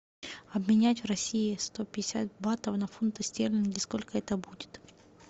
обменять в россии сто пятьдесят батов на фунты стерлинги сколько это будет